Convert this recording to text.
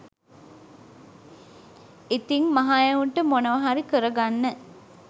ඉතිං මහ එවුන්ට මොනවහරි කරගන්න